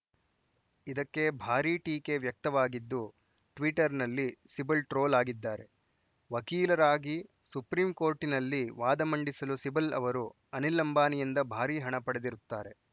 ಇದಕ್ಕೆ ಭಾರಿ ಟೀಕೆ ವ್ಯಕ್ತವಾಗಿದ್ದು ಟ್ವೀಟರ್‌ನಲ್ಲಿ ಸಿಬಲ್‌ ಟ್ರೋಲ್‌ ಆಗಿದ್ದಾರೆ ವಕೀಲರಾಗಿ ಸುಪ್ರೀಂಕೋರ್ಟಿನಲ್ಲಿ ವಾದ ಮಂಡಿಸಲು ಸಿಬಲ್‌ ಅವರು ಅನಿಲ್‌ ಅಂಬಾನಿಯಿಂದ ಭಾರಿ ಹಣ ಪಡೆದಿರುತ್ತಾರೆ